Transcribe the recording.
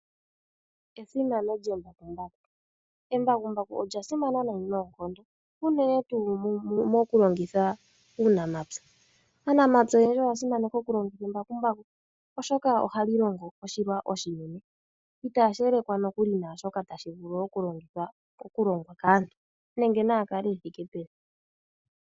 Esimano lyembakumbaku. Embakumbaku olya simana nayi noonkondo, unene tuu mokulongitha uunamapya. Aanamapya oyendji oya simaneka okulongitha embakumbaku, oshoka ohali longo oshilwa oshinene, itaashi yelekwa nokuli naashoka tashi vulu okulongwa kaantu nande naya kale ye thike peni.